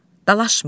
Dalaşmayın.